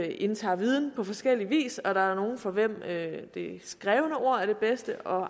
indtager viden på forskellig vis og der er nogle for hvem det skrevne ord er det bedste og